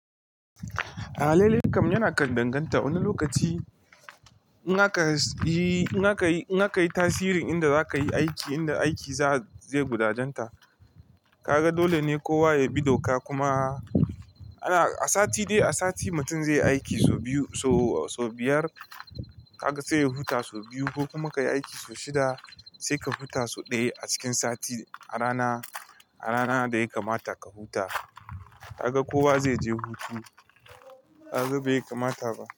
A'a, lele kam yana kandanganta. Wani lokaci in aka sa yi, inak yi, in akayi tasirin inda zakayi aiki, inda aiki za, zai gudajenta. Kaga dole ne kowa ya bi doka kuma ana, a sati dai a sati mutum zai yi aiki sau biyu, sau, sau biyar. Kaga sai ya huta sau biyu ko kuma ka yi aiki sau shida sai ka huta sau ɗaya a cikin sati a rana, a rana da yai kamata ka huta. Kaga kowa zai je hutu. Kaga bai kamata ba.